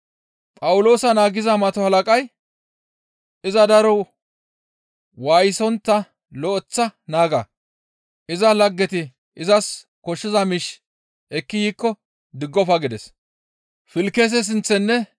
Phawuloosa naagiza mato halaqay, «Iza daro waayisontta lo7eththa naaga; iza laggeti izas koshshiza miish ekki yiikko diggofa» gides.